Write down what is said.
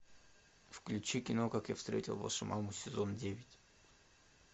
включи кино как я встретил вашу маму сезон девять